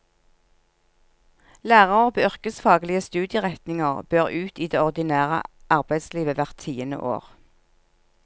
Lærere på yrkesfaglige studieretninger bør ut i det ordinære arbeidslivet hvert tiende år.